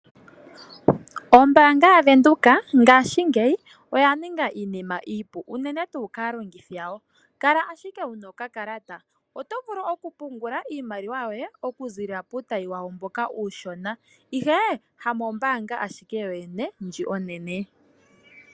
Ombaanga ya venduka ngashingeyi oya ninga iinima iipu unene tuu kaalongithi yawo kala ashike wuna okakalata. Otovulu oku pungula iimaliwa yoye okuziilila puutayi wawo mboka uushona ihe hamombaanga ashike yoyene ndji onene.